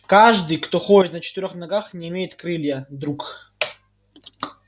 каждый кто ходит на четырёх ногах не имеет крылья друг